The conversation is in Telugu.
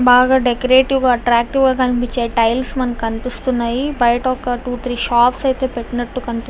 బాగా డెకరేటివ్ గాఎట్రాక్టివ్ గా కనిపించే టైల్స్ మనకి కనిపిస్తున్నాయి. బయట ఒకటు త్రి షాప్స్ ఐతే పెట్టినట్టుగా కనిపి--